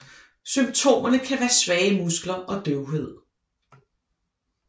Symptomerne kan være svage muskler og døvhed